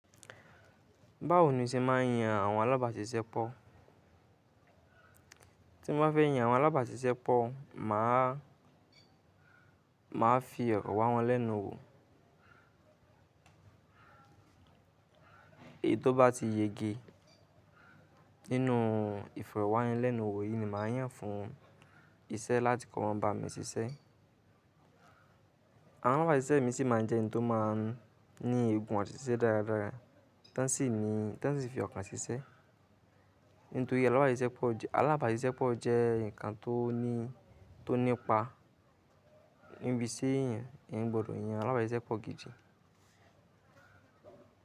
Báwo ni o ṣe máa ń yan àwọn alábàáṣiṣẹ́ pọ̀? Tí mo bá fẹ́ yan àwọn alábàáṣiṣẹ́ pọ̀, mà á, mà á fi òrọ̀ wá wọn lẹ́nu wò. Èyí tó bá ti yégé nínú ìfirẹ̀ wá yẹn lẹ́nu wò, èyí ni mà á yàn fún iṣẹ́ láti kọ́ wọn bá mi ṣiṣẹ́. Àwọn alábàáṣiṣẹ́ mi sì máa ń jẹ́ ẹni tó máa ń ní ègún ọ̀tíṣẹ́ dáradára, tán sì ní, tán sì fi ọkàn ṣiṣẹ́. Nítorí alábàáṣiṣẹ́ pọ̀ jẹ, alábàáṣiṣẹ́ pọ̀ jẹ́ ǹkan tó ní, tó nípa ibi tí ẹ̀yin, ẹ̀yàn gbòòdò yan alábàáṣiṣẹ́ pọ̀ gídi.